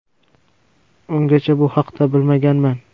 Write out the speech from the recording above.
Ungacha bu haqda bilmaganman.